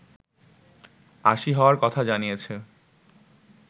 ৮০ হওয়ার কথা জানিয়েছে